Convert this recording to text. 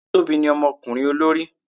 Tobi ní omokurin olori